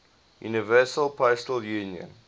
universal postal union